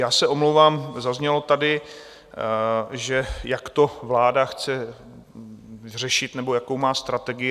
Já se omlouvám, zaznělo tady, že jak to vláda chce řešit nebo jakou má strategii.